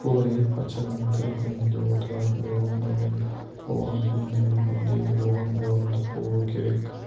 бұл әйел патшаның тірі күнінде отыратын орындығы болған енді өлгенде де оған орындық болуы керек